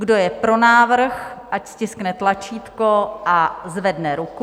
Kdo je pro návrh, ať stiskne tlačítko a zvedne ruku.